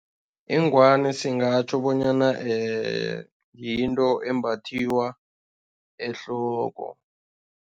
Ingwani singatjho bonyana yinto embathiwa ehloko.